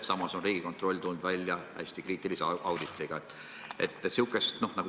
Samas on Riigikontroll tulnud välja hästi kriitilise auditiga.